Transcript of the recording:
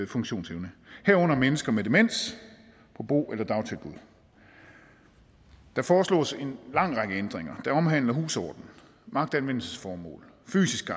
funktionsevne herunder mennesker med demens på bo eller dagtilbud der forslås en lang række ændringer der omhandler husorden magtanvendelsesformål fysisk